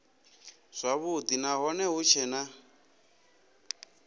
zwavhudi nahone hu tshee na